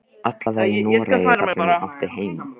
Allavega í Noregi, þar sem ég átti heima.